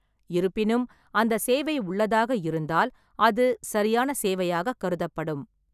இருப்பினும், அந்த சேவை உள்ளதாக இருந்தால், அது சரியான சேவையாகக் கருதப்படும்.